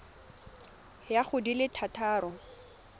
ya go di le thataro